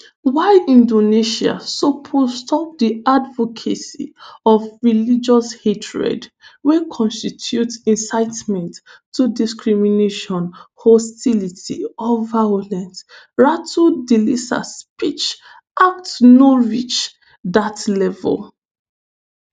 "while indonesia suppose stop di advocacy of religious hatred wey constitute incitement to discrimination hostility or violence ratu thalisa speech act no reach dat level."